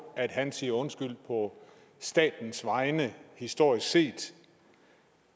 at han siger undskyld på statens vegne historisk set